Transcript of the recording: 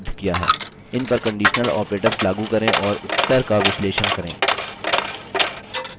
इन पर conditional operators लागू करें और उत्तर का विश्लेषण करें